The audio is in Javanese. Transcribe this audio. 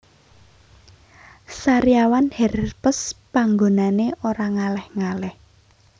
Sariawan herpes panggonane ora ngalih ngalih